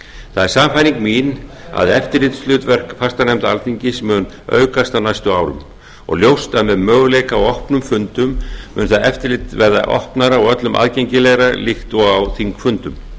það er sannfæring mín að eftirlitshlutverk fastanefnda alþingis muni aukast á næstu árum og ljóst að með möguleika á opnum fundum muni það eftirlit verða opnara og öllum aðgengilegra líkt og á þingfundum